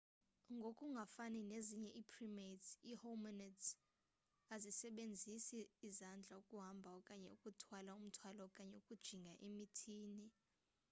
ngoku ngafani nezinye ii-primates ii-hominids azisasebenzisi izandla ukuhamba okanye ukuthwala umthwalo okanye ukujinga emithini